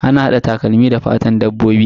Ana hada takalmi da fatan dabbobi.